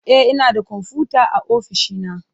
E, ina da kwamfuta a ofishi na